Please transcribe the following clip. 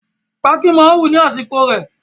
Pákí máa wù ní àsìkò rẹ̀